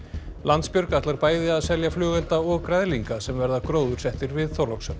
Landsbjörg ætlar bæði að selja flugelda og græðlinga sem verða gróðursettir við Þorlákshöfn